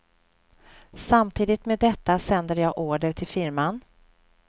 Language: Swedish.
Samtidigt med detta sänder jag order till firman.